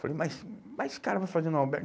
Falei, mas mas o cara vai fazer no Albergue?